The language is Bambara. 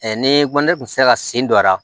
ne ko ne tun tɛ se ka sen don a la